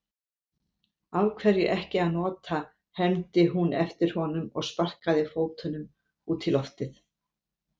Af hverju ekki að nota, hermdi hún eftir honum og sparkaði fótunum út í loftið.